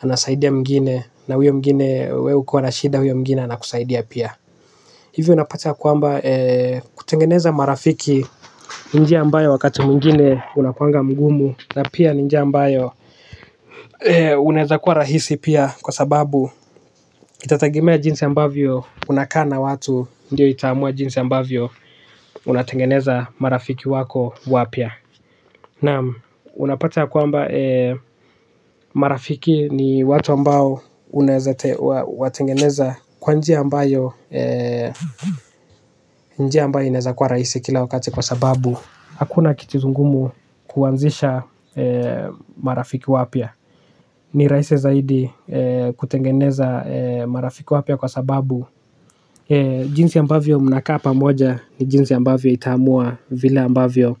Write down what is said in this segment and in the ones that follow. anasaidia mwengine na huyo mwengine wee ukiwa na shida huyo mwengine anakusaidia pia. Hivyo unapata kwamba kutengeneza marafiki ni njia ambayo wakati mwingine unakuanga ngumu. Na pia njia ambayo inaweza kwa rahisi pia kwa sababu itatagimea jinsi ambavyo unakaa na watu. Ndiyo itaamua jinsi ambavyo unatengeneza marafiki wako wapya. Naam unapata kwamba marafiki ni watu ambao unaweza watengeneza kwa njia ambayo njia ambayo inaweza kuwa rahisi kila wakati kwa sababu hakuna kitu ngumu kuanzisha marafiki wapya. Ni rahisi zaidi kutengeneza marafiki wapya kwa sababu jinsi ambavyo mnakaa pamoja, ni jinsi ambavyo itaamua vile ambavyo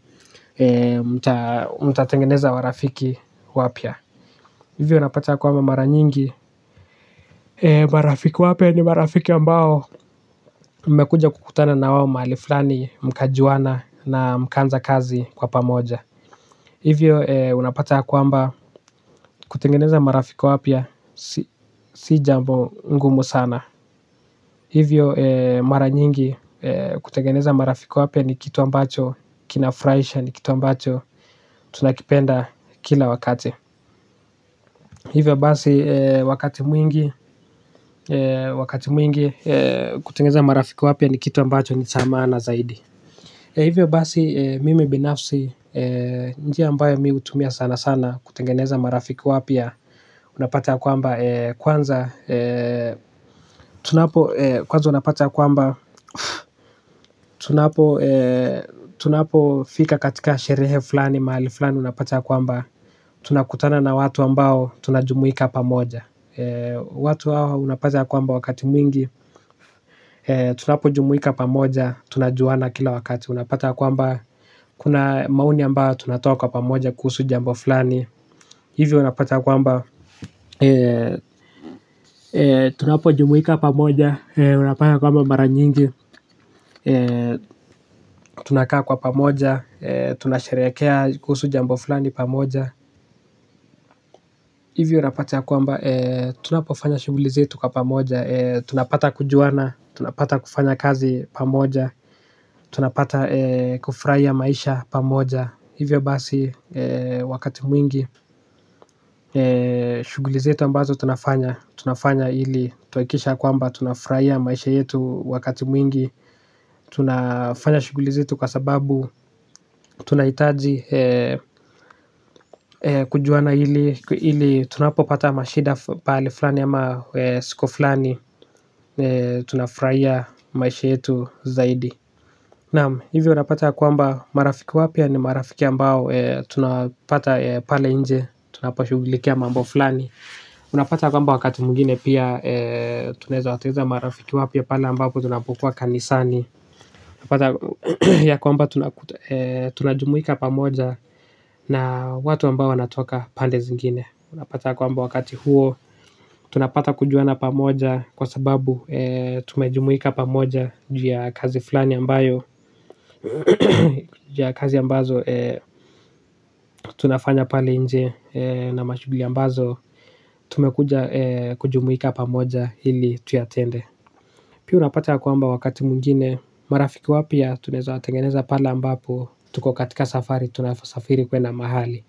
mtatengeneza marafiki wapya. Hivyo unapata ya kwamba mara nyingi marafiki wapya ni marafiki ambao mmekuja kukutana na wao maali fulani, mkajuana na mkanza kazi kwa pamoja. Hivyo unapata ya kwamba kutengeneza marafiki wapya. Si jambo ngumu sana. Hivyo mara nyingi kutengeneza marafiki wapya ni kitu ambacho kinafurahisha ni kitu ambacho tunakipenda kila wakati. Hivyo basi wakati mwingi. Wakati mwingi. Kutengeneza marafiki wapya ni kitu ambacho ni cha maana zaidi. Hivyo basi mimi binafsi. Njia ambayo mi hutumia sana sana kutengeneza marafiki wapya, unapata ya kwamba kwanza tunapo kwaza unapata ya kwamba tunapofika katika sherehe fulani mahali fulani unapata kwamba tunakutana na watu ambao tunajumuika pamoja. Watu hawa unapata kwamba wakati mwingi. Tunapo jumuika pamoja tunajuana kila wakati. Unapata kwamba kuna maoni ambayo tunatoa kwa pamoja kuhusu jambo fulani. Hivyo unapata kwamba tunapo jumuika pamoja unapata kwamba mara nyingi. Tunakaa kwa pamoja, tunasheherekea kuhusu jambo fulani pamoja. Hivyo napatia kwamba, tunapofanya shughulizetu kwa pamoja. Tunapata kujuana, tunapata kufanya kazi pamoja. Tunapata kufurahia maisha pamoja. Hivyo basi wakati mwingi. Shughuli zetu ambazo tunafanya, tunafanya ili tuhakikisha kwamba tunafurahia maisha yetu wakati mwingi. Tunafanya shughulizetu kwa sababu tunaitaji kujuana ili tunapo pata mashida pale fulani ama siku fulani tunafurahia maisha yetu zaidi. Naam, hivyo unapata kwamba marafiki wapya ni marafiki ambao tunapata pale nje tunapo shughulikia mambo fulani unapata kwamba wakati mwingine pia. Tunaweza tengeneza marafiki wapya pala ambapo tunapokuwa kanisani. Unapata ya kwamba tunajumuika pamoja. Na watu ambao wanatoka pande zingine. Unapata kwamba wakati huo. Tunapata kujuana pamoja kwa sababu tumejumuika pamoja. Juu ya kazi fulani ambayo jia kazi ambazo tunafanya pali nje. Na mashughuli ambazo tumekuja kujumuika pamoja ili tuyatende. Pia unapata ya kwamba wakati mwingine marafiki wapya tunaweza watengeneza pale ambapo tuko katika safari, tunasafiri kwenda maahali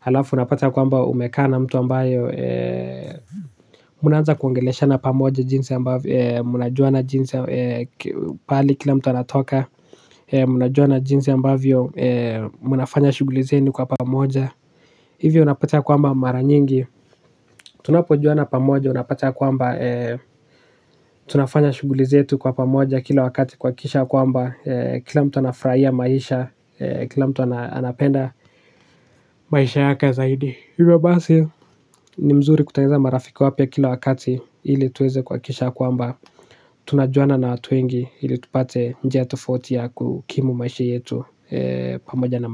alafu unapata ya kwamba umekaa na mtu ambaye mnaanza kuongeleshana pamoja jinsi ambavyo mnajuana jinsi paali kila mtu anatoka ee mnajuana jinsi ambavyo ee mnafanya shughuli zenu kwa pamoja. Hivyo unapata kwamba mara nyingi tunapojuana pamoja unapata kwamba ee. Tunafanya shughuli zetu kwa pamoja kila wakati kuhakikisha kwamba ee kila mtu anafurahia maisha ee kila mtu anapenda. Maisha yake zaidi hivyo basi. Ni mzuri kutengeneza marafiki wapya kila wakati ili tuweze kuhakikisha kwamba tunajuana na watu wengi ili tupate njia tufoti ya kukimu maishi yetu.